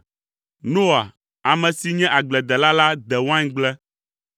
Noa, ame si nye agbledela la de waingble.